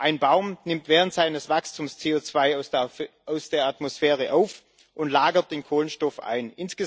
Ein Baum nimmt während seines Wachstums CO2 aus der Atmosphäre auf und lagert den Kohlenstoff ein.